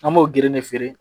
An b'o gerede feere